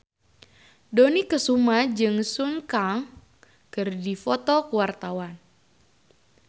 Dony Kesuma jeung Sun Kang keur dipoto ku wartawan